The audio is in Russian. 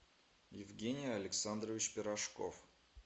евгений александрович пирожков